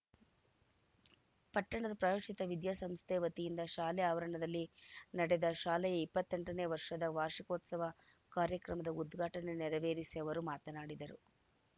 ಪಟ್ಟಣದ ಪ್ರಹರ್ಷಿತ ವಿದ್ಯಾ ಸಂಸ್ಥೆ ವತಿಯಿಂದ ಶಾಲೆ ಆವರಣದಲ್ಲಿ ನಡೆದ ಶಾಲೆಯ ಇಪ್ಪತ್ ಎಂಟನೇ ವರ್ಷದ ವಾರ್ಷಿಕೋತ್ಸವ ಕಾರ್ಯಕ್ರಮದ ಉದ್ಘಾಟನೆ ನೆರವೇರಿಸಿ ಅವರು ಮಾತನಾಡಿದರು